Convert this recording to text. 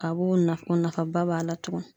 A b'o na nafaba b'a la tugun.